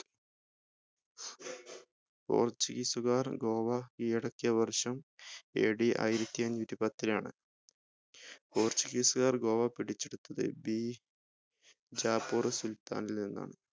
portuguese കാർ ഗോവ കീഴടക്കിയ വർഷം ad ആയിരത്തിഅഞ്ഞൂറ്റിപ്പത്തിലാണ് portuguese കാർ ഗോവ പിടിച്ചെടുത്തത് ബിജാപുർ സുൽത്താനിൽ നിന്നാണ്